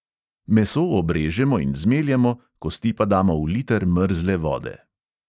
Meso obrežemo in zmeljemo, kosti pa damo v liter mrzle vode.